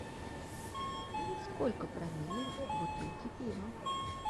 сколько промилле в бутылке пива